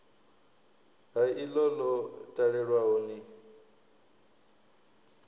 ha iḽo ḽo talelwaho ni